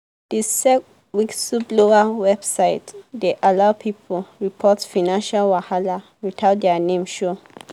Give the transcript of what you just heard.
the sec whistleblower website dey allow people report financial wahala without their name show.